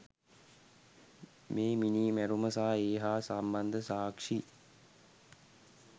මේ මිනී මැරුම සහ ඒ හා සම්බන්ධ සාක්ෂි